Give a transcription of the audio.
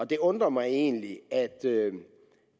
det undrer mig egentlig at